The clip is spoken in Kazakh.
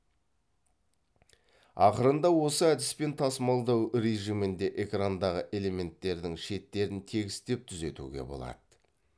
ақырында осы әдіспен тасмалдау режимінде экрандағы элементтердің шеттерін тегістеп түзетуге болады